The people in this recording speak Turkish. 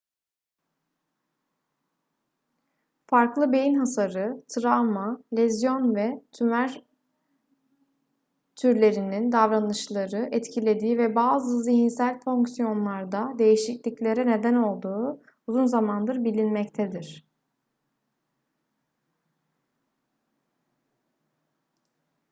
farklı beyin hasarı travma lezyon ve tümör türlerinin davranışları etkilediği ve bazı zihinsel fonksiyonlarda değişikliklere neden olduğu uzun zamandır bilinmektedir